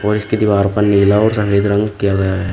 और इसकी दीवार पर नीला और सफेद रंग किया गया है।